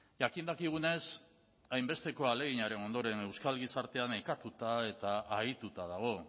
jakin dakigunez hainbesteko ahaleginaren ondoren euskal gizarteak nekatuta eta ahituta dago